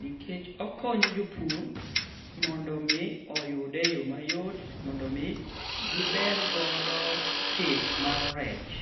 nikech okonyo jopur mondo mi oyude eyoo mayot mondo mi giber godo pith mar rech.